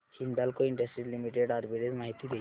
Hindalco industries limited arbitrage माहिती दे